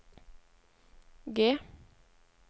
G